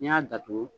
N'i y'a datugu